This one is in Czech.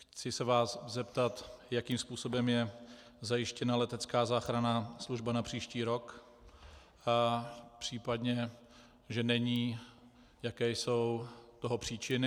Chci se vás zeptat, jakým způsobem je zajištěna letecká záchranná služba na příští rok, v případě že není, jaké jsou toho příčiny.